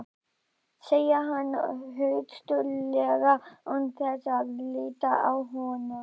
segir hann höstuglega án þess að líta á hana.